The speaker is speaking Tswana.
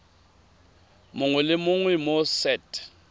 mongwe le mongwe mo set